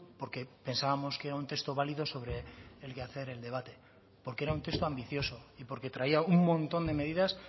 porque pensábamos que era un texto válido sobre el que hacer el debate porque era un texto ambicioso y porque traía un montón de medidas